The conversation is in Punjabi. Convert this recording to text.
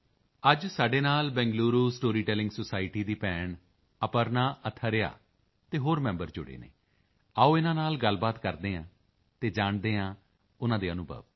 ਅੱਜ ਸਾਡੇ ਨਾਲ ਬੰਗਲੁਰੂ ਸਟੋਰੀ ਟੈਲਿੰਗ ਸੋਸਾਇਟੀ ਦੀ ਭੈਣ ਅਪਰਨਾ ਅਥਰਿਯਾ ਅਤੇ ਹੋਰ ਮੈਂਬਰ ਜੁੜੇ ਹਨ ਆਓ ਉਨ੍ਹਾਂ ਨਾਲ ਗੱਲਬਾਤ ਕਰਦੇ ਹਾਂ ਅਤੇ ਜਾਣਦੇ ਹਾਂ ਉਨ੍ਹਾਂ ਦੇ ਅਨੁਭਵ